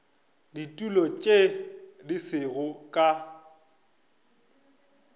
ditulo tše di sego ka